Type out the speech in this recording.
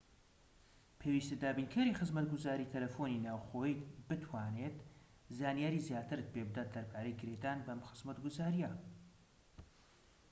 پێویستە دابینکەری خزمەتگوزاری تەلەفۆنی ناوخۆییت بتوانێت زانیاری زیاترت پێبدات دەربارەی گرێدان بەم خزمەتگوزاریە